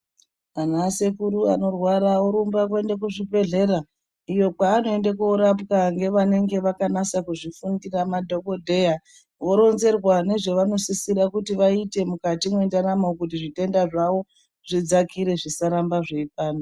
Ana sekuru anorwara orumba kuende kuzvibhedhlera iyo kwaanoende korapwa ngevanenge vakanyase kuzvifundira madhokodheya voronzerwa nezve vanosisira kuti vaite mukati mwendaramo kuti zvitenda zvawo zvidzakire zvisaramba zveipanda.